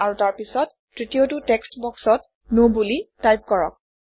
আৰু তাৰপিছত তৃতীয়টো টেক্সট্ বক্সত ন বুলি টাইপ কৰক